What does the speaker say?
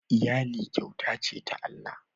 iyali kyauta ce ta Allah